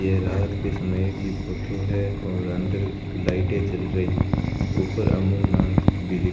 ये रात के समय की फोटो है और अंदर लाइटें जल रही ऊपर अमूल नाम भी --